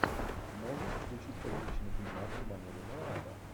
можешь включить приличный фильмас в манере нуара